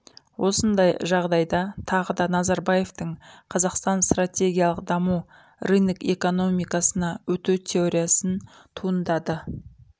осындай жағдайда тағыда назарбаевтың қазақстан стратегиялық дамуы рынок экономикасына өту теориясын туындады